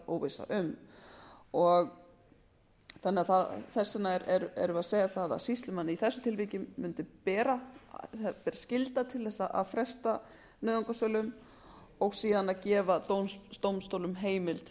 réttaróvissa um þannig að þess vegna erum við að segja það að sýslumönnum í þessu tilviki ber skylda til að fresta nauðungarsölum og síðan að gefa dómstólum heimild